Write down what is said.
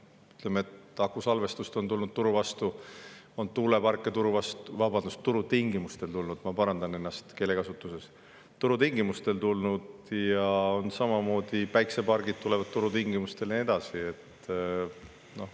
Ütleme, akusalvestust on tulnud turu vastu, tuuleparke on turu vastu, vabandust, turutingimustel tulnud – ma parandan enda keelekasutust – ja samamoodi tulevad päikesepargid turutingimustel ja nii edasi.